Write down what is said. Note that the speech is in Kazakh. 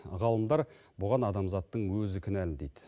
ғалымдар бұған адамзаттың өзі кінәлі дейді